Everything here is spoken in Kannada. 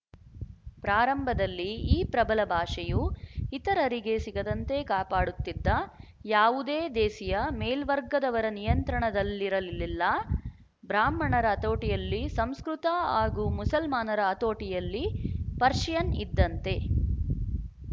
ಪ್ರಾರಂಭದಲ್ಲಿ ಈ ಪ್ರಬಲ ಭಾಷೆಯು ಇತರರಿಗೆ ಸಿಗದಂತೆ ಕಾಪಾಡುತ್ತಿದ್ದ ಯಾವುದೇ ದೇಸಿಯ ಮೇಲ್ವರ್ಗದವರ ನಿಯಂತ್ರಣದಲ್ಲಿರಲಿಲ್ಲ ಬ್ರಾಹ್ಮಣರ ಹತೋಟಿಯಲ್ಲಿ ಸಂಸ್ಕೃತ ಹಾಗೂ ಮುಸಲ್ಮಾನರ ಹತೋಟಿಯಲ್ಲಿ ಪರ್ಶಿಯನ್‌ ಇದ್ದಂತೆ